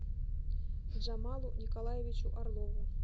джамалу николаевичу орлову